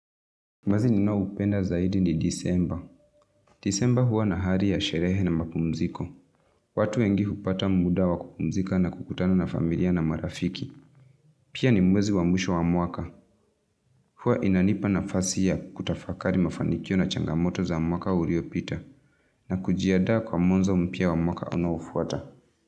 Mwezi ninaoupenda zaidi ni Disemba. Disemba huwa na hali ya sherehe na mapumziko. Watu wengi hupata muda wa kupumzika na kukutana na familia na marafiki. Pia ni mwezi wa mwisho wa mwaka. Huwa inanipa nafasi ya kutafakari mafanikio na changamoto za mwaka uliopita na kujiandaa kwa mwanzo mpya wa mwaka unaofuata.